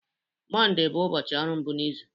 Mọnde bụ ụbọchị ọrụ mbụ n'izu.